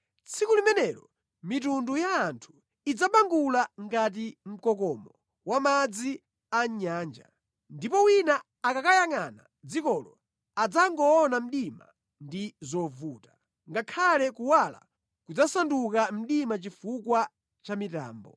Tsiku limenelo mitundu ya anthu idzabangula ngati mkokomo wa madzi a mʼnyanja. Ndipo wina akakayangʼana dzikolo adzangoona mdima ndi zovuta; ngakhale kuwala kudzasanduka mdima chifukwa cha mitambo.